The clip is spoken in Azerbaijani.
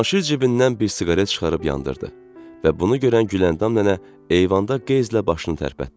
Cavanşir cibindən bir siqaret çıxarıb yandırdı və bunu görən Güləndam nənə eyvanda qeyzlə başını tərpətdi.